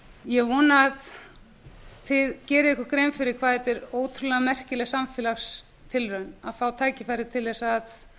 ég vona að þið gerið ykkur grein fyrir hvað þetta er ótrúlega merkileg samfélagstilraun að fá tækifæri til þess